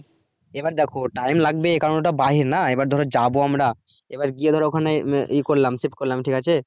এবার দেখো time লাগবে কারন ওটা বাহির না এবার ধরো যাবো আমরা এবার গিয়ে ধরো ওখানে আহ ইয়ে করলাম check করলাম ঠিক আছে